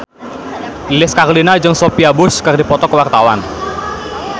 Lilis Karlina jeung Sophia Bush keur dipoto ku wartawan